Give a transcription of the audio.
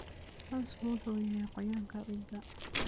Cawsku wuxuu hayaa qoyaanka ciidda.